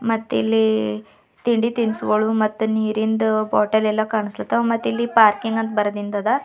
ಮತ್ತಿಲ್ಲಿ ತಿಂಡಿ ತಿನಿಸುಗಳು ಮತ್ತೆ ನೀರಿನ ಬಾಟಲ್ ಎಲ್ಲ ಕಾಣಿಸುತ್ತದೆ ಪಾರ್ಕಿಂಗ್ ಅಂತ ಬರ್ದಿಂದಾದಾ.